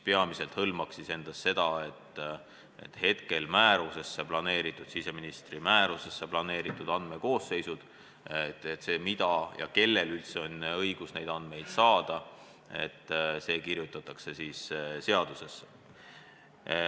Peamiselt hõlmaks muudatus seda, et hetkel siseministri määrusesse planeeritud andmekoosseisud, see, mida ja kellel on õigus teada saada, kirjutatakse seadusesse.